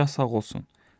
Padşah sağ olsun.